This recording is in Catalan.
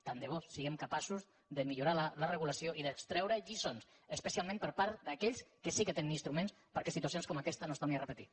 tant de bo siguem capaços de millorar la regulació i d’extreure’n lliçons especialment per part d’aquells que sí que tenen instruments perquè situacions com aquesta no es tornin a repetir